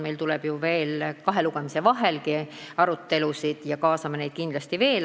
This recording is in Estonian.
Meil tuleb ju veel kahe lugemise vahelgi arutelusid ja me kaasame neid kindlasti veel.